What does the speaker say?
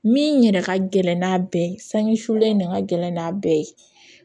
Min yɛrɛ ka gɛlɛn n'a bɛɛ ye sange sulen de ka gɛlɛn n'a bɛɛ ye